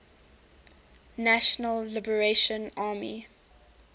national liberation army